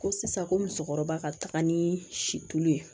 Ko sisan ko musokɔrɔba ka taga ni situlu ye